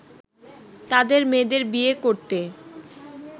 তাদের মেয়েদের বিয়ে করতে